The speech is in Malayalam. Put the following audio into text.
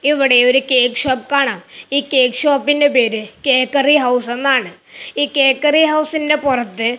ഇവിടെ ഒരു കേക്ക് ഷോപ്പ് കാണാം ഈ കേക്ക് ഷോപ്പിന്റെ പേര് കേക്കറി ഹൌസ് എന്നാണ് ഈ കേക്കറി ഹൗസിന്റെ പുറത്ത്--